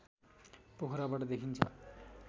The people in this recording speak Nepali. पोखराबाट देखिन्छ